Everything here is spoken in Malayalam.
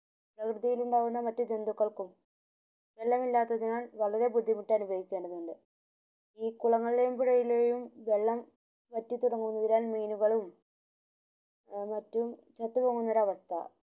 ഉണ്ടാവുന്ന മറ്റു ജെന്റുകൾക്കും വെള്ളം ഇല്ലാത്തതിനാൽ വളരെ ബുദ്ധിമുട്ട് അനുഭവിക്കേണ്ടതുണ്ട് ഈ കുളങ്ങളിലെയും പുഴങ്ങളിലെയും വെള്ളം വറ്റിതുടങ്ങുന്നതിനാൽ മീനങ്ങളും മറ്റും ചത്തു പോവുന്ന ഒരവസ്ഥ